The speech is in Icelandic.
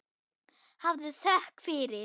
Hafðu þökk fyrir.